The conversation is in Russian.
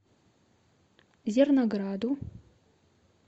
зернограду